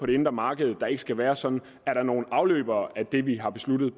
det indre marked der ikke skal være sådan er der nogle udløbere af det vi har besluttet